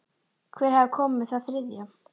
Hver hafði komið með það þriðja?